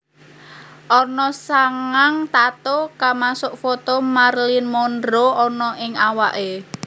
Ana sangang tattoo kamasuk foto Marilyn Monroe anna ning awaké